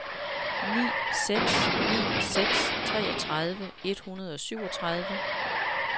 ni seks ni seks treogtredive et hundrede og syvogtredive